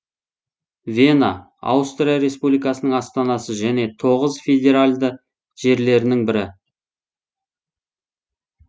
вена аустрия республикасының астанасы және тоғыз федеральды жерлерінің бірі